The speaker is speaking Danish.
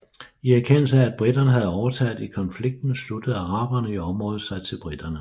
I erkendelse af at briterne havde overtaget i konflikten sluttede araberne i området sig til briterne